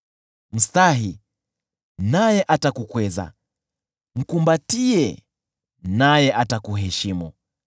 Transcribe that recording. Mstahi, naye atakukweza; mkumbatie, naye atakuheshimu.